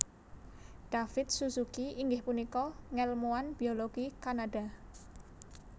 David Suzuki inggih punika ngèlmuwan biologi Kanada